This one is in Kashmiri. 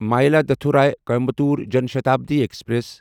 مایلادتھوری کوایمبیٹور جان شتابڈی ایکسپریس